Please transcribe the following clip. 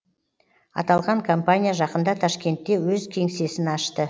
аталған компания жақында ташкентте өз кеңсесін ашты